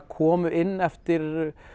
komu inn eftir